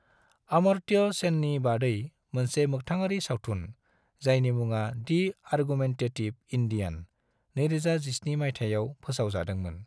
अमर्त्य सेननि बादै मोनसे मोखथाङारि सावथुन, जायनि मुङा दि आर्गुमेन्टेटिभ इन्डियान, 2017 माइथायाव फोसाव जादोंमोन।